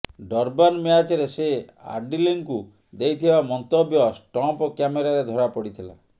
Durban ମ୍ୟାଚରେ ସେ ଆଡିଲଙ୍କୁ ଦେଇଥିବା ମନ୍ତବ୍ୟ ଷ୍ଟମ୍ପ କ୍ୟାମେରାରେ ଧରାପଡିଥିଲା